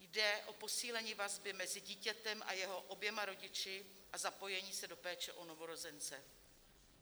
Jde o posílení vazby mezi dítětem a jeho oběma rodiči a zapojení se do péče o novorozence.